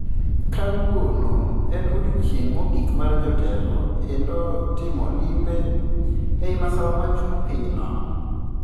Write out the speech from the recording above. Kawuono en odiochieng mogik mar jatelo endo timo limbe ei masawa mar chuny pinyno